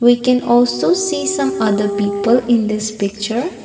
we can also see some other people in this picture.